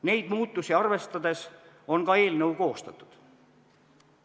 Neid muutusi arvestades on ka eelnõu koostatud.